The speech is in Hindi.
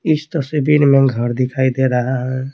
इस तस्वीर में घर दिखाई दे रहा है।